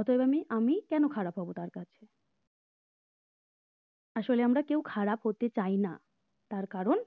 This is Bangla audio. অতএব আমি আমি কেন খারাপ হবো তার কাছে আসলে আমরা কেউ খারাপ হতে চাই না কারণ